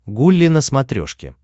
гулли на смотрешке